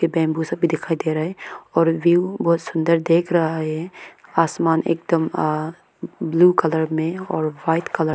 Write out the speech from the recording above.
ये बम्बू सा भी दिखाई दे रहा है और व्यू बहुत सुंदर देख रहा है। आसमान एकदम आ ब्ल्यू कलर में और व्हाइट कलर में --